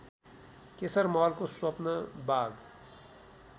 केशरमहलको स्वप्नवाग